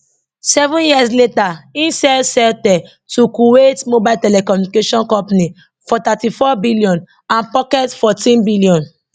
seven years later im sell celtel to kuwait mobile telecommunications company for 34 billion and pocket 14 billion